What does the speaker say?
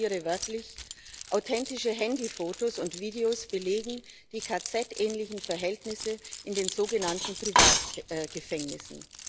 Ich zitiere wörtlich Authentische Handyfotos und videos belegen die KZ ähnlichen Verhältnisse in den sogenannten Privatgefängnissen.